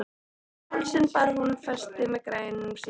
Um hálsinn bar hún festi með grænum steinum.